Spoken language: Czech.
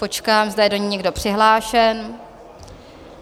Počkám, zda je do ní někdo přihlášen?